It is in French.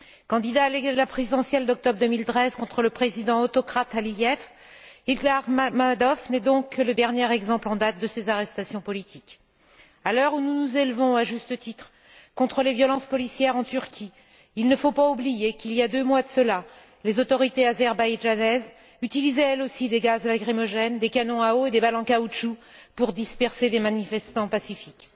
Candidat à la présidentielle d'octobre 2013 contre le président autocrate Aliyev, Ilgar Mammadov n'est donc que le dernier exemple en date de ces arrestations politiques. À l'heure où nous nous élevons, à juste titre, contre les violences policières en Turquie, il ne faut pas oublier qu'il y a deux mois de cela, les autorités azerbaïdjanaises utilisaient, elles aussi, des gaz lacrymogènes, des canons à eau et des balles en caoutchouc pour disperser des manifestants pacifiques.